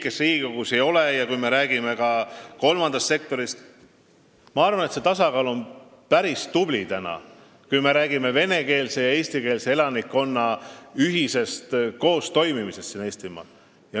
Selle tasakaalu me oleme koos saavutanud – kõikide nende erakondadega, kes siin on, ja loomulikult ka nende erakondadega, kes Riigikogus ei ole, samuti kolmanda sektori abiga.